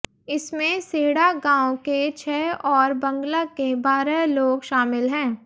इसमें सीहड़ा गांव के छह और बंदला के बारह लोग शामिल हैं